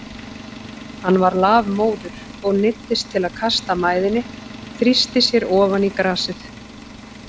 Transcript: Hann var lafmóður og neyddist til að kasta mæðinni, þrýsti sér ofan í grasið.